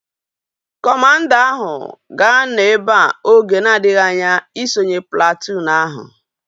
Kọmanda ahu ga-anọ ebea oge na-adịghị anya isonye platụụn ahu